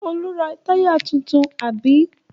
Olú ra táyà tuntun, àbí?